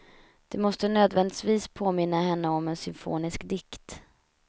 Det måste nödvändigtvis påminna henne om en symfonisk dikt.